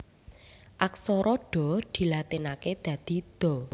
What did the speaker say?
Aksara Dha dilatinaké dadi Dha